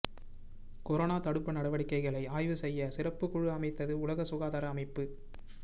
corona தடுப்பு நடவடிக்கைகளை ஆய்வு செய்ய சிறப்புக் குழு அமைத்தது உலக சுகாதார அமைப்பு